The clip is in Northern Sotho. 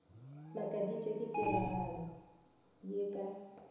makaditšwe ke tiragalo ye ka